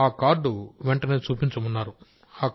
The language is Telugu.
ఆ కార్డు వెంటనే చూపించమన్నారు డాక్టర్